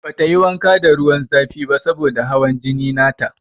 Bata yi wanka da ruwan zafi ba saboda da hawan jini na ta.